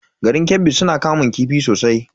Garin Kebbi suna kamun kifi sosai.